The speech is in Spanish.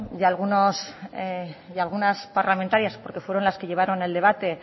y algunas parlamentarias porque fueron las que llevaron el debate